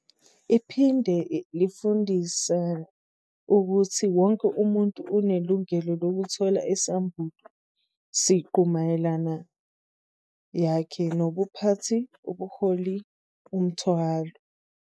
Iphinde lifundisa ukuthi wonke umuntu unelungelo lokuthola isambulo "siqu" mayelana yakhe nobuphathi, ubuholi umthwalo,